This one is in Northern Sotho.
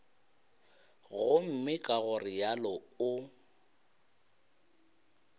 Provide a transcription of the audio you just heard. gomme ka go realo o